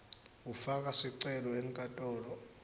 ufaka sicelo enkantolo